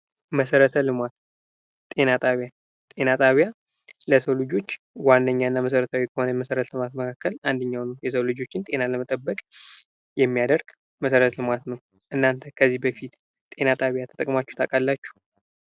መሰረተ ልማት ጤና ጣቢያ ጤና ጣቢያ ለሰው ልጆች ዋነኛና መሰረታዊ ከሆነ የመሰረተ ልማት መካከል አንደኛው ነው። የሰዎችን ጤና ለመጠበቅ የሚያደርግ መሰረተ ልማት ነው። እናንተ ከዚህ በፊት ጤና ጣቢያ ተጠቅማችሁ ታቃላችሁ?